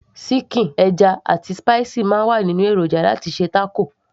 síkìn, ẹja, àti spicy máa ń wà nínú èròjà láti ṣe taco